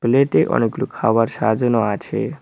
প্লেটে অনেকগুলো খাওয়ার সাজানো আছে।